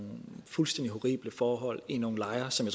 fuldstændig horrible forhold i nogle lejre som